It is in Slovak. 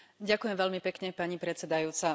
Ďakujem veľmi pekne, pani predsedajúca.